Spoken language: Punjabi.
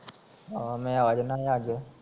ਹਾਂ ਮੈਂ ਆ ਜਾਣਾ ਹੀ ਅੱਜ